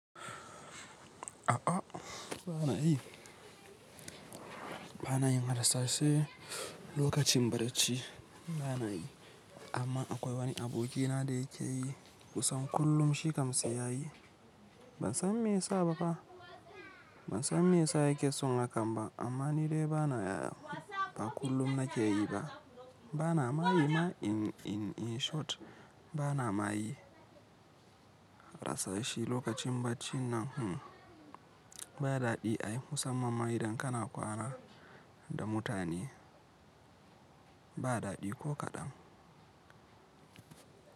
A'a bana yi, bana yin harsashe lokacin barci bana yi. Amma akwai wani abokina da yake yi kusan kullum shi kam shi ya yi. Ban san me yasa ba fa. Ban san me yasa yake son hakan ba. Amma ni dai bana, ba kullum nake yi ba. Bana mayi ma in in in short bana mayi harsashi lokacin barcin nan hmm. Ba daɗi ai musamman ma idan kana kwana da mutane ba daɗi ko kaɗan.